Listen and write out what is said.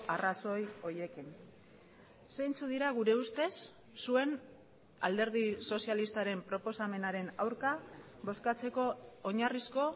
arrazoi horiekin zeintzuk dira gure ustez zuen alderdi sozialistaren proposamenaren aurka bozkatzeko oinarrizko